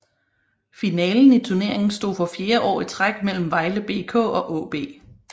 Finalen i turneringen stod for fjerde år i træk mellem Vejle BK og AaB